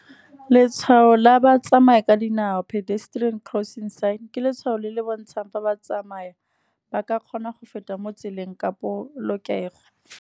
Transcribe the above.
Letshwao la batsamaya ka dinao pedestrian crossing sign, ke letshwao le le bontshang fa ba tsamai ba ka kgona go feta mo tseleng ka polokego.